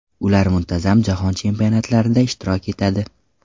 Ular muntazam Jahon chempionatlarida ishtirok etadi.